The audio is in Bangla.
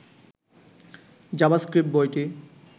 জাভাস্ক্রিপ্ট বইটি